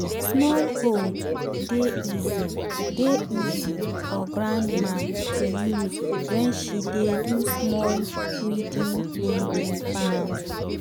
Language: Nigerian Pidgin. small hoe dey easy dey easy for grandma to use wen she dey do small weeding in the evening